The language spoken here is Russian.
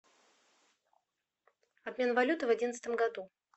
обмен валюты в одиннадцатом году